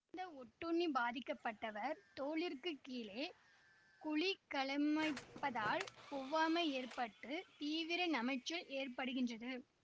இந்த ஒட்டுண்ணி பாதிக்க பட்டவர் தோலிற்கு கீழே குழிகளமைப்பதால் ஒவ்வாமை ஏற்பட்டு தீவிர நமைச்சல் ஏற்படுகின்றது